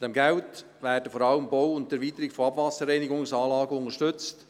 Mit diesem Geld werden vor allem der Bau und die Erweiterung von Abwasserreinigungsanlagen unterstützt.